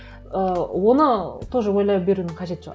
ы оны тоже ойлай берудің қажеті жоқ